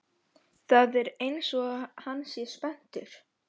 Það er einsog hann sé spenntur.